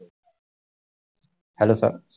hellosir